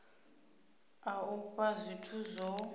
a u fhaa zwithu zwo